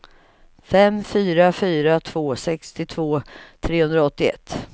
fem fyra fyra två sextiotvå trehundraåttioett